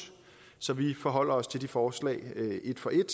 så vi forholder os til de forslag et for et